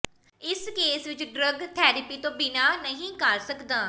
ਇਸ ਕੇਸ ਵਿਚ drug therapy ਤੋਂ ਬਿਨਾਂ ਨਹੀਂ ਕਰ ਸਕਦਾ